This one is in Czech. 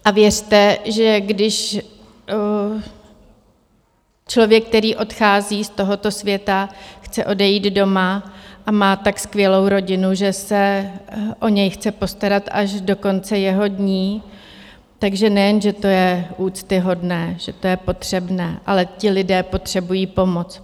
A věřte, že když člověk, který odchází z tohoto světa, chce odejít doma a má tak skvělou rodinu, že se o něj chce postarat až do konce jeho dní, takže nejen, že to je úctyhodné, že to je potřebné, ale ti lidé potřebují pomoc.